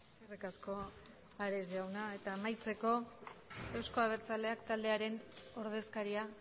eskerrik asko ares jauna eta amaitzeko euzko abertzaleak taldearen ordezkaria